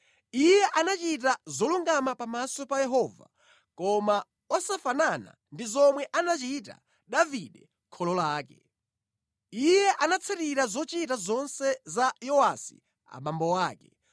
Iye anachita zolungama pamaso pa Yehova, koma osafanana ndi zomwe anachita Davide kholo lake. Iye anatsatira zochita zonse za Yowasi abambo ake.